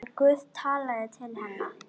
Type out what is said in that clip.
En Guð talaði til hennar.